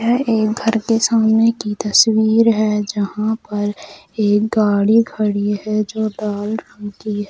यह एक घर के सामने की तस्वीर है जहां पर एक गाड़ी खड़ी है जो लाल रंग की है।